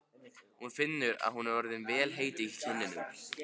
Hún finnur að hún er orðin vel heit í kinnum.